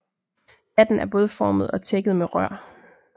Hatten er bådformet og tækket med rør